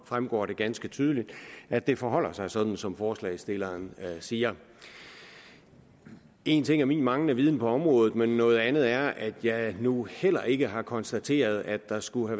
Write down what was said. fremgår det ganske tydeligt at det forholder sig sådan som forslagsstilleren siger en ting er min manglende viden på området men noget andet er at jeg nu heller ikke har konstateret at der skulle